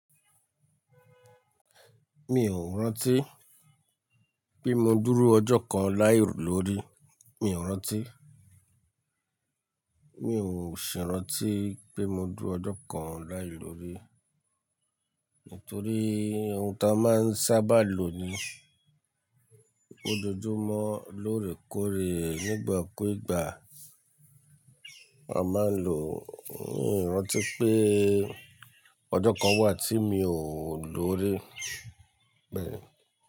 Mi ò rántí pé mi ọ dúró ọjọ́ kan láì lórí, mi ò rántí. Mi ò sì rántí pé mo dú ọjọ́ kan láì lórí. Nítorí ohun ta máa ń sábà lo ni, ó dojúmọ́ lórè kóre nígbà kú ìgbà. A máa ń lò, mi ò rántí pé ọjọ́ kan wà tí mi ò lórí, bẹ́ẹ̀ni.